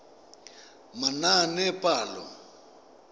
manaanepalo